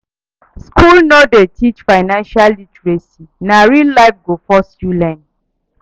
School no dey teach financial literacy, na real life go force you learn.